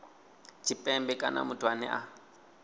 tshipembe kana muthu ane a